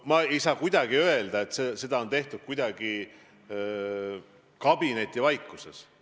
Ma ei saa öelda, et seda on tehtud kuidagi kabinetivaikuses.